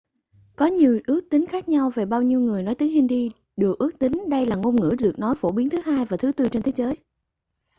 có nhiều ước tính khác nhau về bao nhiêu người nói tiếng hindi được ước tính đây là ngôn ngữ được nói phổ biến thứ hai và thứ tư trên thế giới